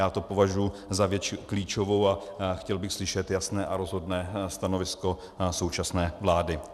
Já to považuji za věc klíčovou a chtěl bych slyšet jasné a rozhodné stanovisko současné vlády.